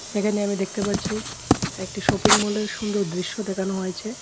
এখানে আমি দেখতে পাচ্ছি একটি শপিং মলের সুন্দর দৃশ্য দেখানো হয়েছে।